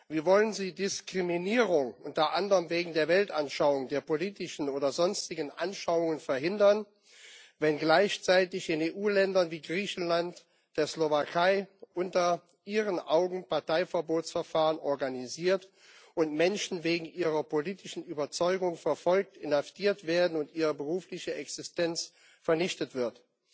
Wie wollen Sie Diskriminierung, unter anderem wegen der Weltanschauung, der politischen oder sonstigen Anschauungen verhindern, wenn gleichzeitig in EU Ländern wie Griechenland und der Slowakei unter Ihren Augen Parteiverbotsverfahren organisiert und Menschen wegen ihrer politischen Überzeugung verfolgt und inhaftiert werden und ihre berufliche Existenz vernichtet wird?